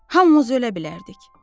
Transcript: Hamımız ölə bilərdik.